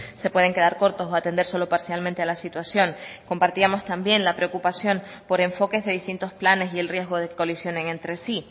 se pueden quedar cortos o atender solo parcialmente a la situación compartíamos también la preocupación por enfoques de distintos planes y el riesgo de que colisionen entre sí